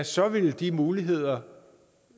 så vil de muligheder